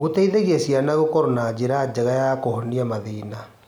Gũteithagia ciana gũkorwo na njĩra njega cia kũhonia mathĩna.